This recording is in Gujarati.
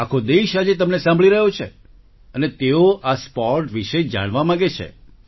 આખો દેશ આજે તમને સાંભળી રહ્યો છે અને તેઓ આ સ્પોર્ટ વિશે જાણવા માંગે છે